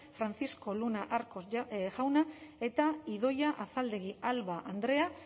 francisco luna arcos jauna eta idoia azaldegui alba andrea